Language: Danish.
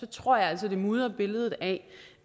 tror jeg altså at det mudrer billedet af